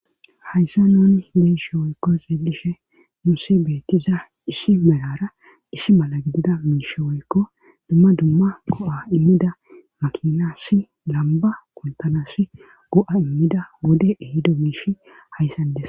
Hayssa nuun be'ishe woykko xeelishe nuusi beettiza issi melara issi mala gidida miishe woykko dumma dumma go7a immida makinassi lamba kuntanas go7a immida wode ehido miisha hayssan des.